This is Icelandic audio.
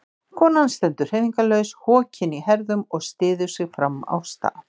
Konan stendur hreyfingarlaus, hokin í herðum og styður sig fram á staf.